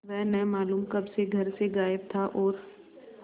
वह न मालूम कब से घर से गायब था और